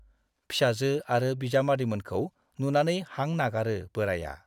फिसाजो आरो बिजामादैमोनखौ नुनानै हां नागारो बोराइया।